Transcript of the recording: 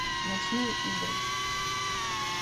ночные игры